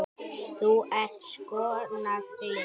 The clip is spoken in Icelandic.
Þú ert sko nagli.